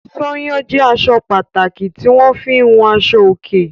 Sányán jẹ́ aṣọ pàtàkì tí wọ́n fi ń hun aṣọòkè.